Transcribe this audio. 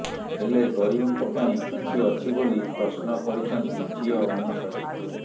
ହେଲେ ଗରିବଙ୍କ ପାଇଁ କିଏ ଅଛି ବୋଲି ପ୍ରଶ୍ନ କରିଛନ୍ତି ଝିଅ ଅନସୂୟା